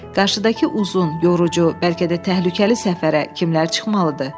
Qarşıdakı uzun, yorucu, bəlkə də təhlükəli səfərə kimlər çıxmalıdır?